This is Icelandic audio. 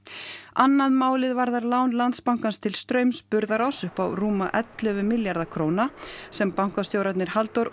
annað málið varðar lán Landsbankans til Straums Burðaráss upp á rúma ellefu milljarða króna sem bankastjórarnir Halldór